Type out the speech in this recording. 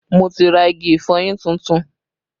Mo ti ra igi ìfọyín tuntun